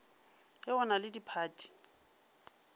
ge go na le diphathi